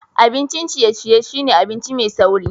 Abincin ciye-ciye shine abinci mai sauri